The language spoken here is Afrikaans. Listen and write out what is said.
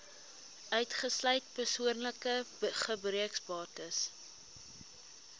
uitgesluit persoonlike gebruiksbates